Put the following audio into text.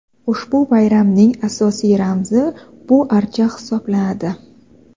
Ushbu bayramning asosiy ramzi bu archa hisoblanadi.